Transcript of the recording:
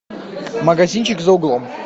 магазинчик за углом